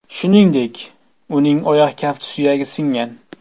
Shuningdek, uning oyoq kafti suyagi singan.